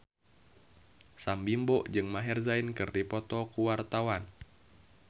Sam Bimbo jeung Maher Zein keur dipoto ku wartawan